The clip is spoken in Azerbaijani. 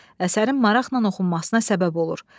Əsərin maraqla oxunmasına səbəb olur.